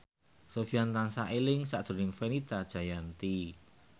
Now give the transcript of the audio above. Sofyan tansah eling sakjroning Fenita Jayanti